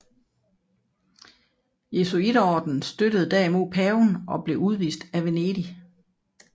Jesuiterordenen støttede derimod paven og blev udvist af Venedig